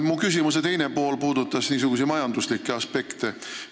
Mu küsimuse teine pool puudutas majanduslikke aspekte.